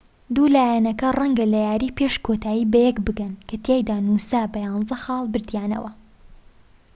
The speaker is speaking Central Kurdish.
دوو لایەنەکە ڕەنگە لە یاری پێش کۆتایی بەیەک بگەن کە تیایدا نووسا بە 11 خاڵ بردیانەوە